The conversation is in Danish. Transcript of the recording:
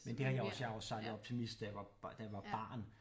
Men det har jeg også jeg jeg har jo sejlet optimist da jeg var da jeg var barn